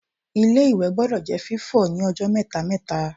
Ilé-ìwẹ̀ gbọdọ̀ jẹ́ fífọ̀ ní ọjọ́ mẹ́ta-mẹ́ta